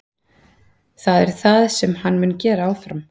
Það er það sem hann mun gera áfram.